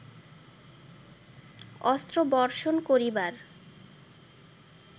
অস্ত্র বর্ষণ করিবার